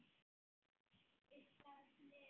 Ísland lifi.